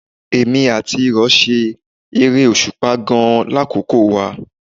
Èmi àti ìrọ̀ ṣe eré òṣùpá gan-an lákòókò wa